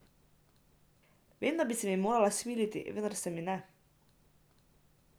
Vem, da bi se mi morala smiliti, vendar se mi ne.